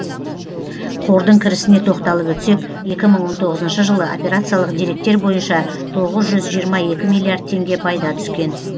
қордың кірісіне тоқталып өтсек екі мың он тоғызыншы жылы операциялық деректер бойынша тоғыз жүз жиырма екі миллиард теңге пайда түскен